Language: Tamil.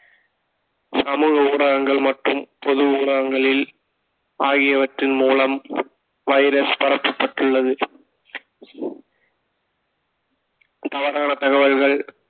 சமூக ஊடகங்கள் மற்றும் பொது ஊடகங்களில் ஆகியவற்றின் மூலம் வைரஸ் பரப்பப்பட்டுள்ளது தவறான தகவல்கள்